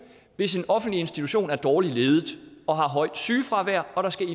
hvis en offentlig institution er dårligt ledet og har højt sygefravær og der skal